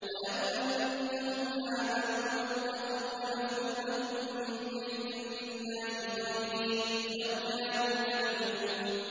وَلَوْ أَنَّهُمْ آمَنُوا وَاتَّقَوْا لَمَثُوبَةٌ مِّنْ عِندِ اللَّهِ خَيْرٌ ۖ لَّوْ كَانُوا يَعْلَمُونَ